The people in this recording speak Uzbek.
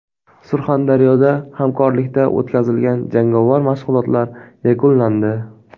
Surxondaryoda hamkorlikda o‘tkazilgan jangovar mashg‘ulotlar yakunlandi.